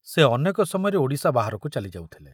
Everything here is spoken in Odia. ସେ ଅନେକ ସମୟରେ ଓଡ଼ିଶା ବାହାରକୁ ଚାଲି ଯାଉଥିଲେ।